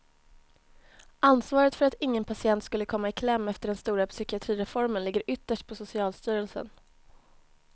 Ansvaret för att ingen patient skulle komma i kläm efter den stora psykiatrireformen ligger ytterst på socialstyrelsen.